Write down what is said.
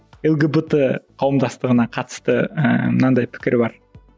лгбт қауымдастығына қатысты ііі мынандай пікір бар